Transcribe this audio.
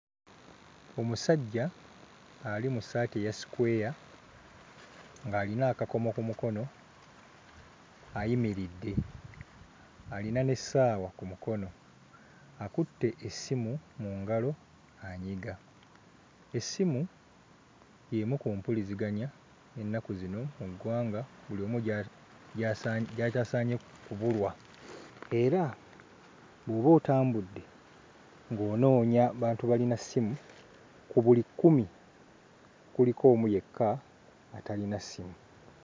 Omusajja ali mu ssaati eya sikweya ng'alina akakomo ku mukono ayimiridde, alina n'essaawa ku mukono, akutte essimu mu ngalo anyiga. Essimu y'emu ku mpuliziganya ennaku zino mu ggwanga buli omu gya... gyasa... gy'atasaanye kubulwa era bw'oba otambudde ng'onoonya bantu balina ssimu, ku buli kkumi kuliko omu yekka atalina ssimu.